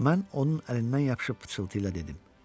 Mən onun əlindən yapışıb pıçıltı ilə dedim: